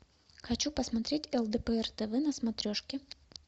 хочу посмотреть лдпр тв на смотрешке